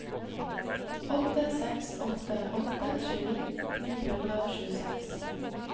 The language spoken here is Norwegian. åtte seks åtte åtte tjueni ni hundre og tjueseks